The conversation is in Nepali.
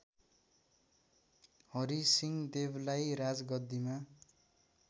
हरिसिंह देवलाई राजगद्दिमा